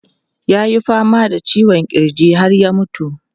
Ya yi fama da ciwon kirji har ya mutu.